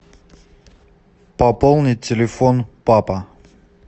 пополнить телефон папа